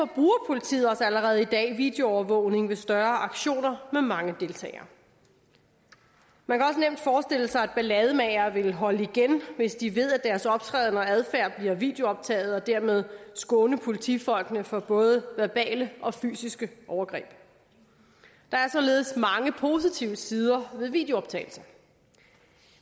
politiet også allerede i dag videoovervågning ved større aktioner med mange deltagere man kan forestille sig at ballademagere vil holde igen hvis de ved at deres optræden og adfærd bliver videooptaget og dermed kan skåne politifolkene for både verbale og fysiske overgreb der er således mange positive sider ved videooptagelser